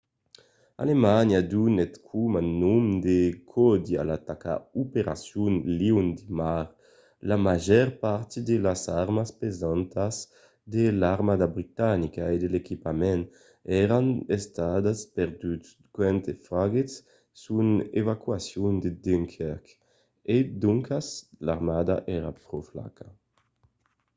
alemanha donèt coma nom de còdi a l’ataca operacion leon de mar”. la màger part de las armas pesantas de l’armada britanica e de l'equipament èran estat perduts quand faguèt son evacuacion de dunkirk e doncas l’armada èra pro flaca